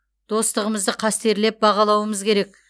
достығымызды қастерлеп бағалауымыз керек